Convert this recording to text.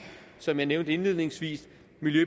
som jeg nævnte indledningsvis